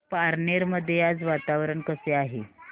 पारनेर मध्ये आज वातावरण कसे आहे